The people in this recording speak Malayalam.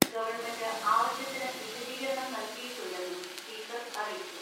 ഗവൺമെന്റ് ആവശ്യ ത്തിന് വിശദീകരണം നല്കിയിട്ടുണ്ടെന്നും സ്പീക്കർ അറിയിച്ചു.